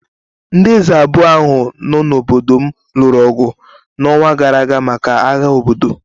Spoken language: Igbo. Ndị eze abụọ ahụ nọ n’obodo m lụrụ ọgụ n’ọnwa gara aga maka agha obodo.